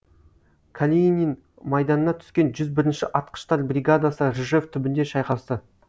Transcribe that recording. калинин майданына түскен жүз бірінші атқыштар бригадасы ржев түбінде шайқасты